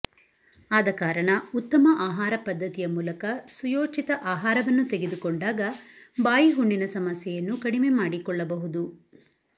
ಆದ ಕಾರಣ ಉತ್ತಮ ಆಹಾರ ಪದ್ಧತಿಯ ಮೂಲಕ ಸುಯೋಚಿತ ಆಹಾರವನ್ನು ತೆಗೆದುಕೊಂಡಾಗ ಬಾಯಿಹುಣ್ಣಿನ ಸಮಸ್ಯೆಯನ್ನು ಕಡಿಮೆಮಾಡಿಕೊಳ್ಳಬಹುದು